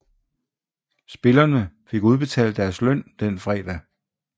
Spillerne fik udbetalt deres løn den fredag